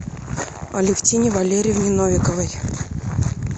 алевтине валерьевне новиковой